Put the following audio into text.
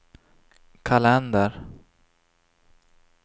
kalender